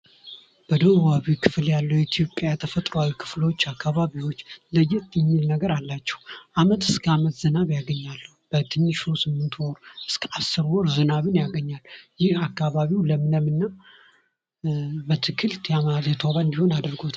በደቡባዊ ክፍል ያለው የኢትዮጵያ ተፈጥሮአዊ ክፍሎች አካባቢዎችን ለየት የሚል ነገር አላቸው ከዓመት እስከ ዓመት ዝናብ ያገኛሉ። በትንሹ ከስምንት ወር እስከ አስር ወር ዝናብን ያገኛሉ። ይህ አካባቢው ለምለምናት በአትክልት ያማረና የተዋበ እንዲሆን አድርጎታል።